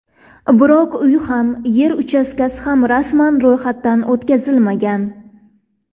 Biroq uy ham, yer uchastkasi ham rasman ro‘yxatdan o‘tkazilmagan.